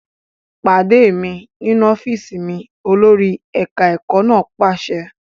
Pàdé mi nínú ọ́fíìsì mi! Olórí ẹ̀ka ẹ̀kọ́ náà pàṣẹ.